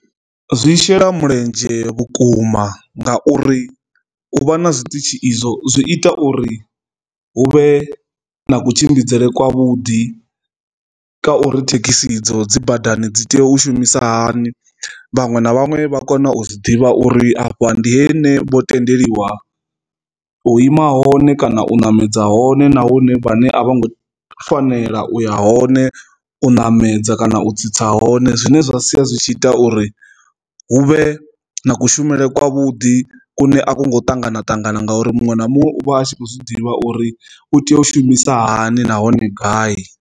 Zwi shela mulenzhe vhukuma ngauri u vha na zwiṱitshi izwo zwi ita uri hu vhe na kutshimbidzele kwa vhuḓi ka uri thekhisi dzo dzi badani dzi tea u shumisa hani vhaṅwe na vhaṅwe vha kona u zwi ḓivha uri afha ndi he ne vho tendeliwa u ima hone kana u namedza hone nahone vhane a vho ngo fanela uya hone u ṋamedza kana u tsitsa hone, zwine zwa sia zwi tshi ita uri huvhe na kushumele kwavhuḓi kune a songo ṱangana ṱangana nga uri muṅwe na muṅwe u vha a tshi kho zwi ḓivha uri u tea u shumisa hani nahone gai.